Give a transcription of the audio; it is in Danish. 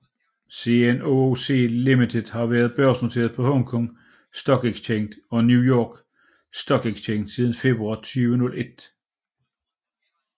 CNOOC Limited har været børsnoteret på Hong Kong Stock Exchange og New York Stock Exchange siden februar 2001